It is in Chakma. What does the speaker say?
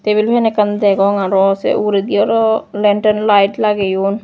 tabil fan ekkan degong aro se ugurendi oro lantern light lageyon.